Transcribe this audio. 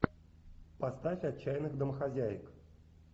поставь отчаянных домохозяек